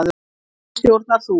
Nú stjórnar þú.